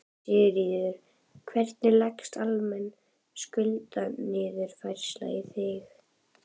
Sigríður: Hvernig leggst almenn skuldaniðurfærsla í þig?